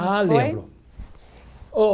Ah, lembro.